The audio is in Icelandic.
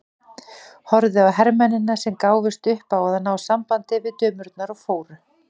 Horfði á hermennina sem gáfust upp á að ná sambandi við dömurnar og fóru.